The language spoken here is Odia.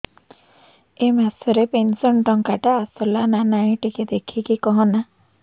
ଏ ମାସ ରେ ପେନସନ ଟଙ୍କା ଟା ଆସଲା ନା ନାଇଁ ଟିକେ ଦେଖିକି କହନା